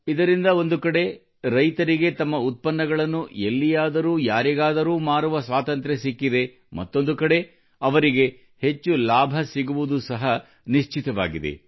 ಇದರಿಂದ ಒಂದುಕಡೆ ರೈತರಿಗೆ ತಮ್ಮ ಉತ್ಪನ್ನಗಳನ್ನು ಎಲ್ಲಿಯಾದರೂ ಯಾರಿಗಾದರೂ ಮಾರುವ ಸ್ವಾತಂತ್ರ್ಯ ಸಿಕ್ಕಿದೆ ಮತ್ತೊಂದು ಕಡೆ ಅವರಿಗೆ ಹೆಚ್ಚು ಲಾಭ ಸಿಗುವುದು ಸಹ ನಿಶ್ಚಿತವಾಗಿದೆ